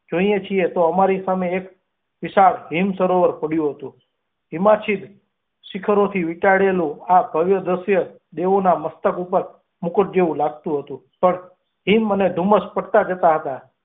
જાઈએ છીએ તો અમારી સામે એક વિશાળ હિમસરોવર પડ્યું હતું હિમાચ્છાદિત શિખરોથી વીંટળાવેલું આ ભવ્ય દ્રશ્ય દેવાના નાક ઉપર મુક્ત જેવું લાગતું હતું, પણ હંમ અને ધુમ્મસ પડતાં જતાં હતાં